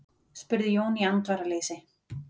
spurði Jón í andvaraleysi.